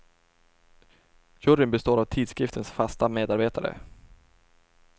Juryn består av tidskriftens fasta medarbetare.